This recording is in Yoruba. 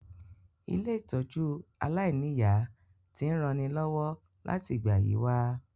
Ilé-ìtójú aláìniya ti n ranilọ́wọ́ láti ìgbà yi wa